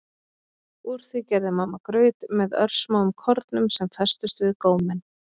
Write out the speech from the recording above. Úr því gerði mamma graut með örsmáum kornum sem festust við góminn.